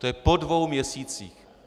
To je po dvou měsících.